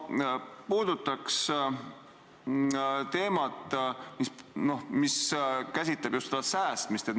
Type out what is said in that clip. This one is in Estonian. Ma puudutan teemat, mis käsitleb just säästmist.